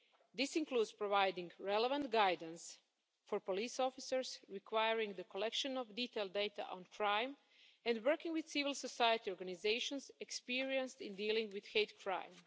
This includes providing relevant guidance for police officers, requiring the collection of detailed data on crime and working with civil society organisations experienced in dealing with hate crime.